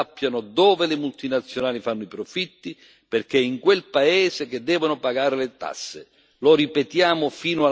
È giusto che i cittadini sappiano dove le multinazionali fanno i profitti perché è in quel paese che devono pagare le tasse.